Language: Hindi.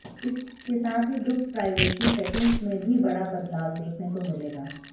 इसके साथ ही ग्रुप प्राइवेसी सेटिंग्स में भी बड़ा बदलाव देखने को मिलेगा